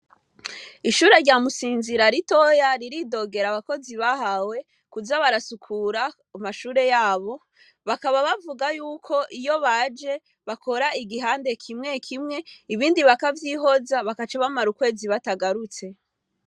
Ishure rya Musinzira ritoya ,riridogera abakozi bahawe kuza barasukura amashure yabo, bakaba bavuga yuko, iyo baje bakora igihande kimwe kimwe ,ibindi bakavyihoza bagaca bamara ukwezi batagarutse.